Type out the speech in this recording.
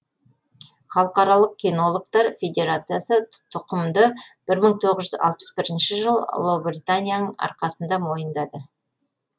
халықаралық кинологтар федерациясы тұқымды бір мың тоғыз жүз алпыс бірінші жылы ұлыбританияның арқасында мойындады